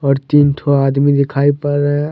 और तीन ठौ आदमी दिखाई पड़ रहे हैं।